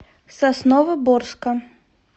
сосновоборска